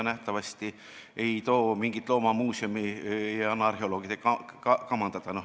Nähtavasti ei anta mingit loomamuuseumi arheoloogide kamandada.